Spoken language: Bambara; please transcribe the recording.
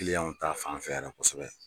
Kiliyanw ta fan fɛ kosɛbɛ.